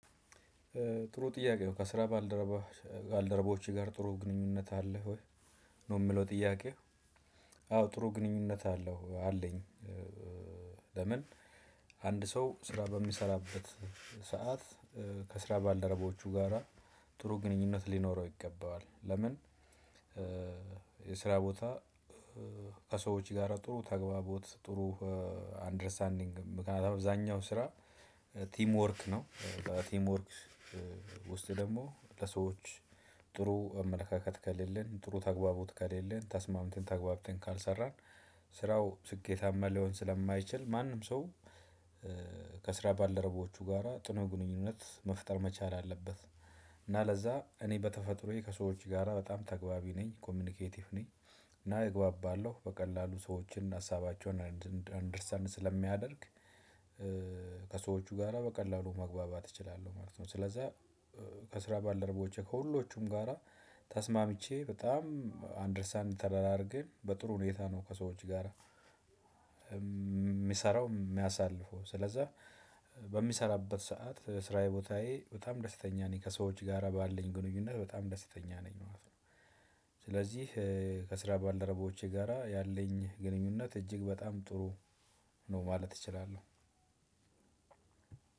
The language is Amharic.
ጥሩ ጥያቄ ነው ከስራ ባልደረባ ባልደረባዎች ጋር ጥሩ ግንኙነት አለ ወይ ነው ምለው ጥያቄው? አዎ ጥሩ ግንኙነት አለው አለኝ። ለምን? አንድ ሰው ስራ በሚሰራበት ሰዓት ከስራ ባልደረቦቹ ጋራ ጥሩ ግንኙነት ሊኖረው ይገባዋል። ለምን? የስራ ቦታ ከሰዎች ጋራ ጥሩ ተግባቦት ጥሩ አንደርስታንዲንግ ምክንያቱም አብዛኛው ስራ ቲም ወርክ ነው። ቲም ወርክ ውስጥ ደግሞ ለሰዎች ጥሩ አመለካከት ከሌለን ጥሩ ተግባቦት ከሌለን ተስማምተን ተግባብተን ካልሰራን ስራው ስኬታማ ሊሆን ስለማይችል ማንም ሰው። ከስራ ባለረቦቹ ጋራ ጥሩ ግንኙነት መፍጠር መቻል አለበት። እና ለዛ እኔ በተፈጥሮዬ ከሰዎች ጋራ በጣም ተግባቢ ነኝ ኮሚኒኬቲቭ ነኝ። እና እግባባለሁ በቀላሉ ሰዎችን ሀሳባቸውን አንደርስታንድ ስለሚያደርግ። ከሰዎቹ ጋራ በቀላሉ መግባባት እችላለሁ ማለት ነው ስለዛ። ከስራ ባልደረቦቼ ከሁሎቹም ጋራ ተስማምቼ በጣም አንደርስታንድ ተደራራገን በጥሩ ሁኔታ ነው። ከሰዎች ጋራ ሚሰራው ሚያሳልፈው ስለዛ። በሚሰራበት ሰዓት ስራዬ ቦታዬ በጣም ደስተኛ ነኝ ከሰዎች ጋራ ባለኝ ግንኙነት በጣም ደስተኛ ነኝ ማለት ነው። ስለዚህ ከስራ ባልደረባዎቼ ጋራ ያለኝ ግንኙነት እጅግ በጣም ጥሩ ነው ማለት እችላለሁ።